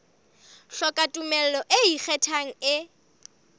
hloka tumello e ikgethang e